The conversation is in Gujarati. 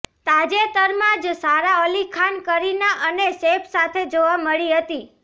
તાજેતરમાં જ સારા અલી ખાન કરીના અને સૈફ સાથે જોવા મળી હતી